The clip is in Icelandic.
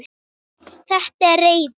Þetta er reiði.